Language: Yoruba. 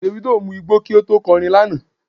Davido mu igbó kí ó tó kọ orin lánàá.